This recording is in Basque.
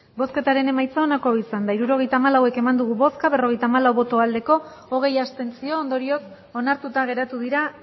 hirurogeita hamalau eman dugu bozka berrogeita hamalau bai hogei abstentzio ondorioz onartuta geratu dira